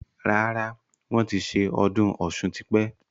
Rárá, wọn ti ṣe ọdún Ọ̀sun tí pẹ́.